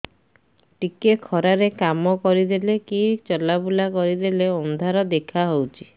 ଟିକେ ଖରା ରେ କାମ କରିଦେଲେ କି ଚଲବୁଲା କରିଦେଲେ ଅନ୍ଧାର ଦେଖା ହଉଚି